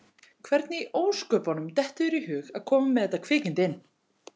Hvernig í ósköpunum dettur þér í hug að koma með þetta kvikindi inn?